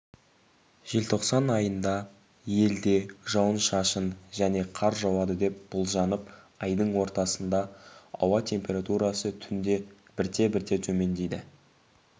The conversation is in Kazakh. желтоқсан айында елде жауын-шашын және қар жауады деп болжанып айдың ортасында ауа температурасы түнде бірте-бірте төмендейді